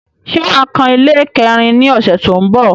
Ṣé wà á kan ilé kẹ́rin ní ọ̀ṣẹ̀ tó ń bọ̀?